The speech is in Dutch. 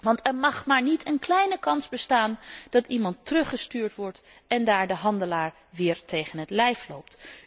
Want er mag zelfs geen kleine kans bestaan dat iemand teruggestuurd wordt en daar de handelaar weer tegen het lijf loopt.